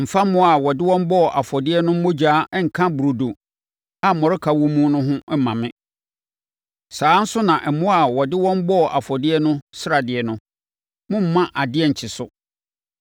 “Mfa mmoa a wɔde wɔn bɔɔ afɔdeɛ no mogya nka burodo a mmɔreka wɔ mu ho mma me. “Saa ara nso na mmoa a wɔde wɔn bɔɔ afɔdeɛ no sradeɛ no, mommma adeɛ nnkye so.